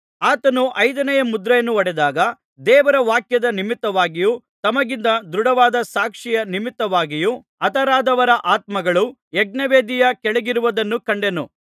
ಆತನು ಐದನೆಯ ಮುದ್ರೆಯನ್ನು ಒಡೆದಾಗ ದೇವರ ವಾಕ್ಯದ ನಿಮಿತ್ತವಾಗಿಯೂ ತಮಗಿದ್ದ ದೃಢವಾದ ಸಾಕ್ಷಿಯ ನಿಮಿತ್ತವಾಗಿಯೂ ಹತರಾದವರ ಆತ್ಮಗಳು ಯಜ್ಞವೇದಿಯ ಕೆಳಗಿರುವುದನ್ನು ಕಂಡೆನು